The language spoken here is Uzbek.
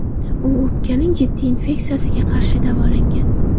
U o‘pkaning jiddiy infeksiyasiga qarshi davolangan.